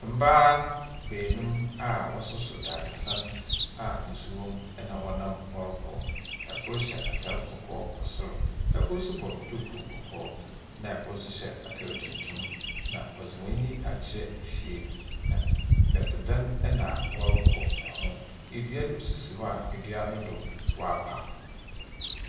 Mbaa beenum a wɔsoso dadesɛn a nsu wɔm ɛna ɔnam ɔrekɔ. Ɛkor hyɛ ataar kɔkɔɔ wɔ sor. Ɛkor nso bɔ dukuu kɔkɔɔ na ɛkor nso hyɛ ataar tuntum. Na ɔdze hɔn ani akyerɛ efie na nnete dan ɛna ɔrekɔ ho. Edua nso si hɔ a, edua no do wɔapa.